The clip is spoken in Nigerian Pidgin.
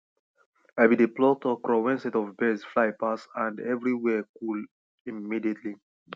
i bin dey pluck okro wen set of birds fly pass and everywhere cool immediately